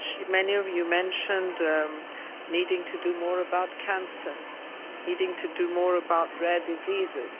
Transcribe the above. Many of you mentioned needing to do more about cancer, needing to do more about rare diseases.